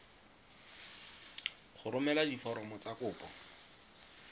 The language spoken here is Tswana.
go romela diforomo tsa kopo